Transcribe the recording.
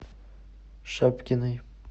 шапкиной